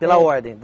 Pela ordem?